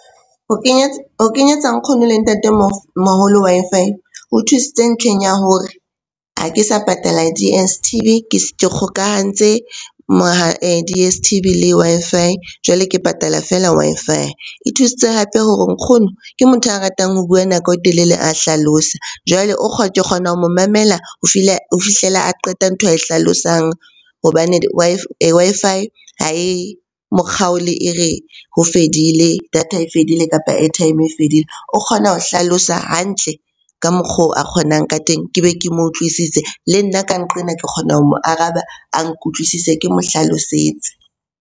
Ho kenyetsa nkgono le ntatemoholo Wi-Fi e thusitse ntlheng ya hore ha ke sa patala D_S_T_V ke kgokahantse D_S_T_V le Wi-Fi jwale ke patala feela Wi-Fi. E thusitse hape hore nkgono ke motho a ratang ho bua nako e telele a hlalosa, jwale ke kgona ho mo mamela ho fihlela a qeta ntho ae hlalosang hobane Wi-Fi ha e mokgaole e re ho fedile, data e fedile kapa airtime e fedile. O kgona ho hlalosa hantle ka mokgo a kgonang ka teng ke be ke mo utlwisise. Le nna ka nqena ke kgona ho mo araba a nkutlwisise, ke mo hlalosetse.